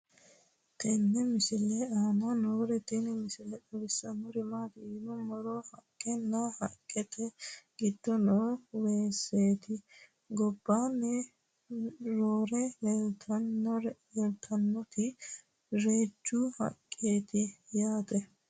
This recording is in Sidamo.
tenne misile aana noorina tini misile xawissannori maati yinummoro haqqenna haqqette giddo noo weessette gobbaanni roore leelittannoti reejju haqqeti yaatte